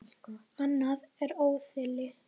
Annað er óeðli.